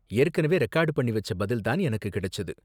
ஏற்கனவே ரெகார்டு பண்ணி வெச்ச பதில் தான் எனக்கு கிடைச்சது.